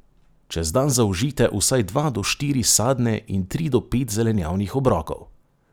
Čez dan zaužijte vsaj dva do štiri sadne in tri do pet zelenjavnih obrokov.